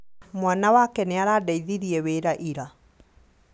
Mwana wake nĩarandeithirie wĩra ira